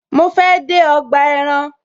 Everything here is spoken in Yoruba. Mo fe de ọgbà ẹran